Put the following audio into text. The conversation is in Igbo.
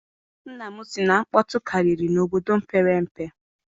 Nna m sị na nkpọtụ karịrị n'obodo mepere emepe.